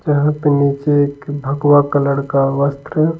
यहां पे नीचे एक भगवा कलर का वस्त्र--